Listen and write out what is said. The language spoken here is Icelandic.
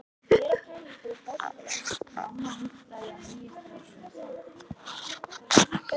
Uppi á lofti var Svenni að borða sinn graut.